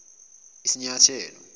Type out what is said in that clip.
isinyathelo